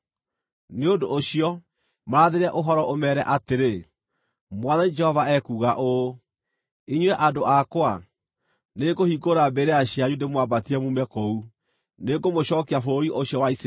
Nĩ ũndũ ũcio, marathĩre ũhoro, ũmeere atĩrĩ, ‘Mwathani Jehova ekuuga ũũ: Inyuĩ andũ akwa, nĩngũhingũra mbĩrĩra cianyu ndĩmwambatie muume kũu; nĩngũmũcookia bũrũri ũcio wa Isiraeli.